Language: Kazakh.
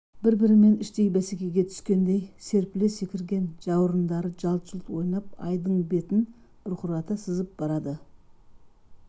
бір-бірімен іштей бәсекеге түскендей серпіле секірген жауырындары жалт-жұлт ойнап айдын бетін бұрқырата сызып барады